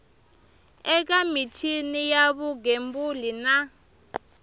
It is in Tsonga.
eka michini ya vugembuli na